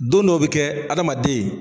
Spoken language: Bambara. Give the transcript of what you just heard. Don dɔw bɛ kɛ adamaden.